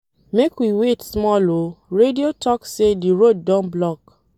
Make we wait small o, radio talk sey di road don block.